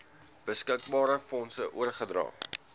beskikbare fondse oorgedra